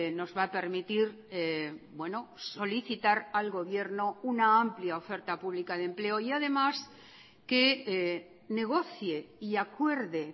nos va a permitir solicitar al gobierno una amplia oferta pública de empleo y además que negocie y acuerde